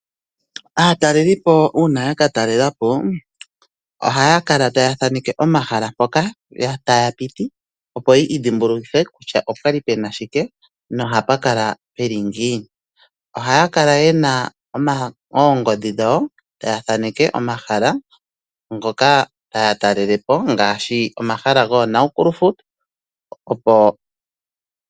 Aatalelipo uuna yaka talelapo oha ya kala taya thaaneke omahala mpoka taya piti opo yi idhimbulukithe kutya opwa li pu na shike noha pa kala pu li ngiini. Oha ya kala ye na oongodhi dhawo taya thaaneke omahala taya talelepo ngaashi omahala goNaukluft Park.